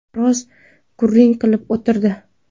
Biroz gurung qilib o‘tirdi.